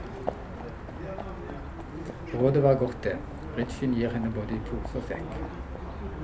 Rådet var godt, det, bridgen gir henne både i pose og sekk.